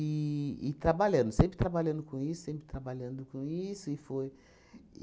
E e trabalhando, sempre trabalhando com isso, sempre trabalhando com isso e foi